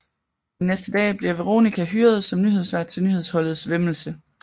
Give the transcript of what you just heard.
Den næste dag bliver Veronica hyret som nyhedsvært til nyhedsholdets væmmelse